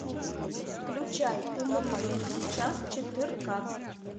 включай умри но не сейчас четырка